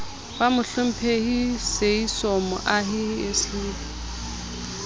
ba mohlomphehi seeiso mohai slp